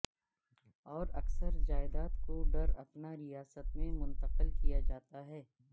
اور اکثر جائیداد کو ڈراپنا ریاست میں منتقل کیا جاتا ہے